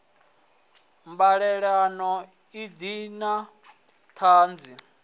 mbalelano bi i na tshadzhi